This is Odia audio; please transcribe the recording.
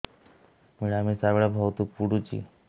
ମିଳାମିଶା ବେଳେ ବହୁତ ପୁଡୁଚି